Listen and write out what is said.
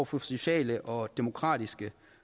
for sociale og demokratiske